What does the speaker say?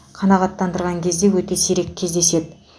қанағаттандырған кезде өте сирек кездеседі